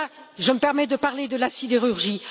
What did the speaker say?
Et là, je me permets de parler de la sidérurgie.